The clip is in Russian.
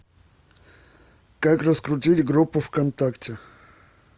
как раскрутить группу вконтакте